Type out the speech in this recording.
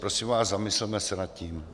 Prosím vás, zamysleme se nad tím.